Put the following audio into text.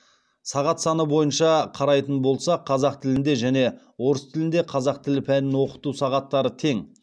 сағат саны бойынша қарайтын болсақ қазақ тілінде және орыс тілінде қазақ тілі пәнін оқыту сағаттары тең